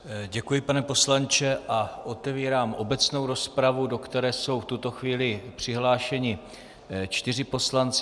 Děkuji, pane poslanče, a otevírám obecnou rozpravu, do které jsou v tuto chvíli přihlášeni čtyři poslanci.